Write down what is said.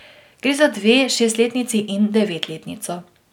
Gre za dve šestletnici in devetletnico.